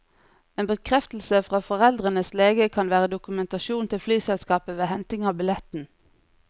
En bekreftelse fra foreldrenes lege kan være dokumentasjon til flyselskapet ved henting av billetten.